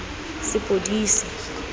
sepodisi